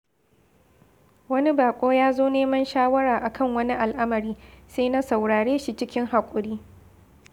Wani baƙo ya zo neman shawara a kan wani al’amari, sai na saurare shi cikin haƙuri.